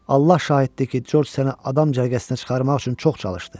Allah şahiddir ki, Corc səni adam cərgəsinə çıxarmaq üçün çox çalışdı.